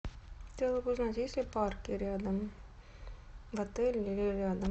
хотела бы узнать есть ли парки рядом в отеле или рядом